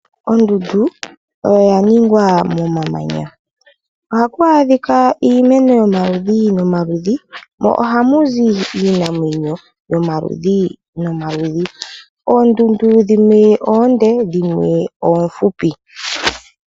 Ondundu oyo ya ningwa momamanya. Ohaku adhika iimeno yomaludhi nomaludhi mo ohamu zi iinamwenyo yomaludhi nomaludhi. Oondundu dhimwe oonde dhimwe oofupi.